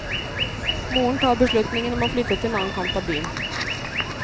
Moren tar beslutningen om å flytte til en annen kant av byen.